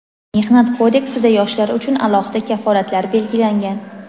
Mehnat kodeksida yoshlar uchun alohida kafolatlar belgilangan.